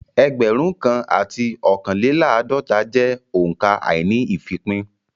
Ẹgbẹ̀rún kan àti ọ̀kánléláàdọ́ta jẹ́ òǹkà àíní-ìfípín